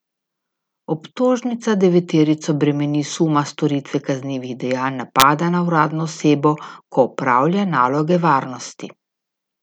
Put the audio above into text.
Obtožnica deveterico bremeni suma storitve kaznivih dejanj napada na uradno osebo, ko opravlja naloge varnosti.